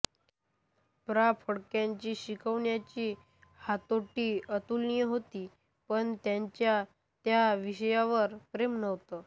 प्रा फडक्यांची शिकवण्याची हातोटी अतुलनीय होती पण त्यांचे त्या विषयावर प्रेम नव्ह्ते